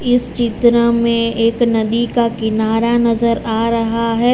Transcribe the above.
इस चित्र में एक नदी का किनारा नजर आ रहा है।